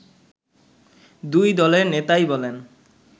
দুই দলের নেতাই বলেন